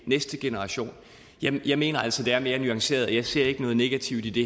næste generation jeg mener altså det er mere nuanceret og jeg ser ikke noget negativt i det